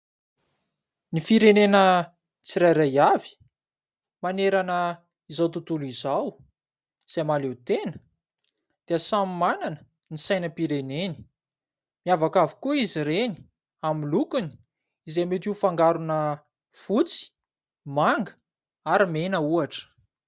Ny firenena tsirairay avy, manerana izao tontolo izao izay mahaleo tena dia samy manana ny sainam-pireneny. Miavaka avokoa izy reny, amin'ny lokony izay mety ho fangarona fotsy, manga ary mena ohatra.